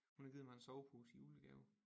Hun har givet mig en sovepose i julegave